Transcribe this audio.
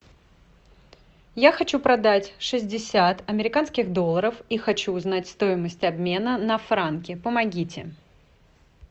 я хочу продать шестьдесят американских долларов и хочу узнать стоимость обмена на франки помогите